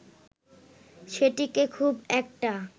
সেটিকে খুব একটা